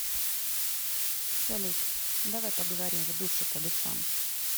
салют давай поговорим в душе по душам